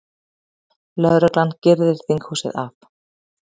Lögreglan girðir þinghúsið af